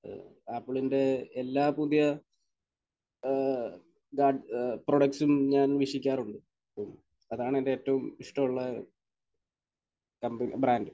ഏഹ് ആപ്പിളിന്റെ എല്ലാ പുതിയ ഏഹ് ബ്ര...പ്രോഡക്ട്സും ഞാൻ വീക്ഷിക്കാറുണ്ട്. മ് അതാണ് എന്റെ ഏറ്റവും ഇഷ്ടമുള്ള കമ്പനി ബ്രാൻഡ്.